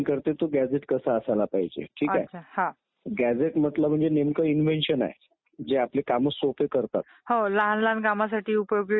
निवडणूकच नसतील तर देशात लोकशाही टिकणार नाही. त्यामुळे अनागोंदी माजेल आणि हुकूमशाही निर्माण होईल